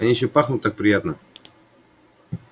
они ещё пахнут так приятно